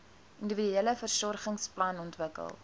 individuele versorgingsplan ontwikkel